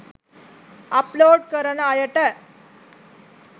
upload කරන අයට